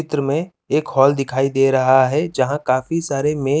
चित्र में एक हॉल दिखाई दे रहा है जहाँ काफी सारे मे--